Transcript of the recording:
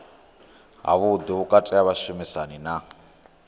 havhuḓi vhukati ha vhashumisani na